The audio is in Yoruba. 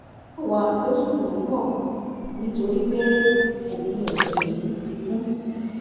mọ́ wa lóṣù tó ń bọ̀ nítorí pé òpin ọ̀sẹ̀ yìí ti kún